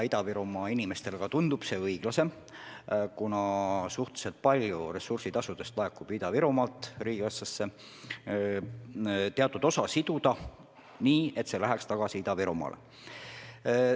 Ida-Virumaa inimestele tundub see õiglane, kuna suhteliselt palju ressursitasudest laekub riigikassasse Ida-Virumaalt, ja teatud osa sellest rahast võiks siduda nii, et see läheks tagasi Ida-Virumaale.